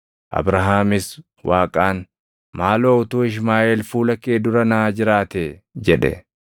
Abrahaamis Waaqaan, “Maaloo utuu Ishmaaʼeel fuula kee dura naa jiraatee!” jedhe.